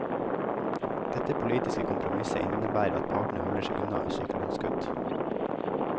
Dette politiske kompromisset innebærer at partene holder seg unna sykelønnskutt.